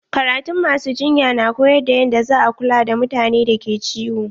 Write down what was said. Karatun ma su jinya na koyar da yanda za a kula da mutanen da ke ciwo.